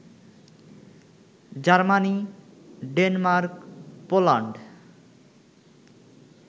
Germany, Denmark, Poland